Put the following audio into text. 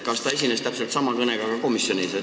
Kas ta esines täpselt sama kõnega ka komisjonis?